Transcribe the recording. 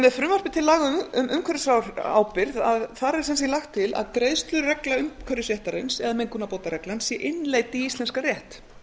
með frumvarpi til laga um umhverfisábyrgð er því lagt til að greiðsluregla umhverfisréttarins eða mengunarbótareglan sé innleidd í íslenskan rétt